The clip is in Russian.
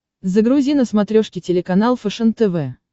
загрузи на смотрешке телеканал фэшен тв